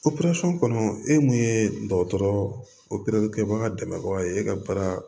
kɔnɔ e mun ye dɔgɔtɔrɔkɛ baga dɛmɛbaga ye e ka baara